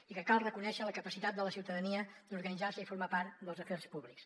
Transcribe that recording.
i cal reconèixer la capacitat de la ciutadania d’organitzar se i formar part dels afers públics